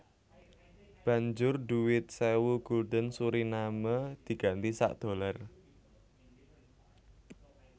Banjur dhuwit sewu gulden Suriname diganti sak dollar